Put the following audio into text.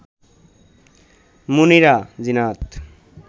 Munira, Zinat